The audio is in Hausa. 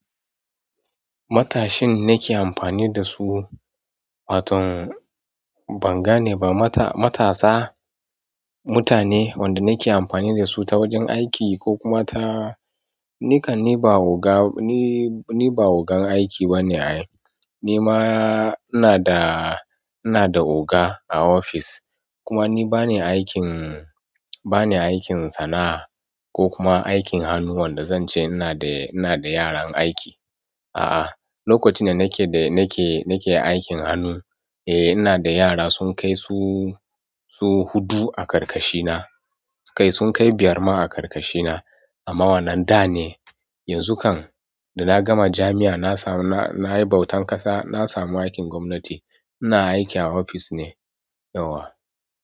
Matashin nake amfani da su, waton ban gane ba. Mata, matasa, mutane wanda nake amfani da su ta wajen aiki ko kuma ta. Nikan ni ba oga, ni, ni ba ogan aiki bane ai. Ni ma ina da, ina da oga a ofis. Kuma ni bani aikin, bani aikin sana'a ko kuma aikin hannu wanda zan ce ina da, ina da yaran aiki. A'a, lokacin da nake, da nake, nake aikin hannu, eh ina da yara sun kai su, su huɗu a ƙarƙashina. Kai sun kai biyar ma a ƙarƙashina. Amma wannan da ne, yanzu kam da na gama jami'a na samu, na, nayi bautan ƙasa, na samu aikin gwamnati. Ina aiki a ofis ne yauwa.